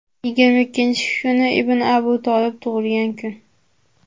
Yigirma ikkinchi kuni ibn Abu Tolib tug‘ilgan kun.